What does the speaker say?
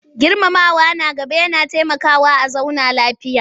Girmama na gaba yana taimakawa a zauna lafiya.